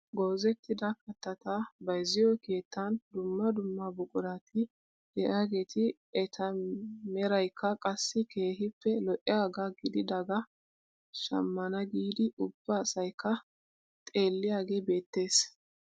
Goozettida kattaata bayzziyoo keettan dumma dumma buqurati de'iyaageti eta merayikka qassi keehippe lo"iyaagaa gididagaa shammana giidi ubba asayikka xeelliyaagee beettees.